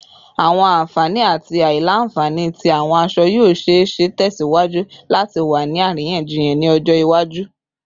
Awọn anfani ati aila-nfani ti awọn aṣọ yoo ṣee ṣe tẹsiwaju lati wa ni ariyanjiyan ni ọjọ iwaju